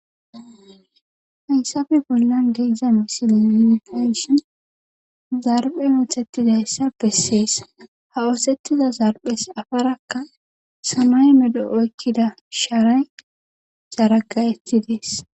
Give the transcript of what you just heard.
Hayisafe bollan geezdza misilipeshin zarbhe muthettizayssa bessees ha oosettiza zarphes afarakka samay medo7o ekkida shaaray saaragaetides